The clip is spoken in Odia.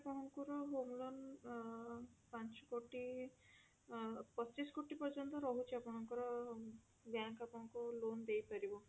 ଆପଣଙ୍କର home lone ଅ ପାଞ୍ଚ କୋଟି ପଚିଶ କୋଟି ପର୍ଯ୍ୟନ୍ତ ରହୁଛି ଆପଣଙ୍କର bank account loan ଦେଇ ପାରିବ